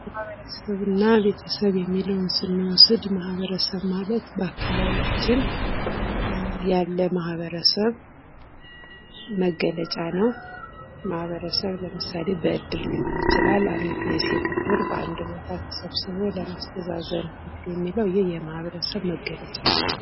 ማበረሰብና ቤተሰብ የሚለውን ስንወስድ ማበረሰብ ማለት በአካባቢያችን ያለ ማህበረሰብ መገለጫ ነው ማህበረሰብ ለምሳሌ እድር ሊሆን ይችላል እድር በአንድ ቦታ ተሰብስቦ ሰዎችን ለማስተሳሰብ የሚደረግ የማህበረሰብ መገለጫ ነው።